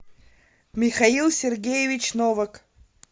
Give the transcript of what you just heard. михаил сергеевич новак